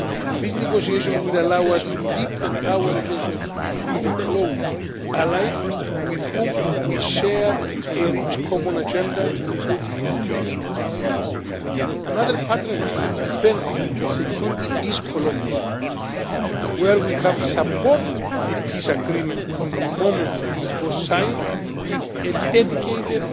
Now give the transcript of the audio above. This negotiation will allow us to deepen our relations with a close ally with whom we share a rich common agenda, including peace and security. Another partner in defence and security is Colombia, where we have supported the peace agreement from the moment it was signed with a dedicated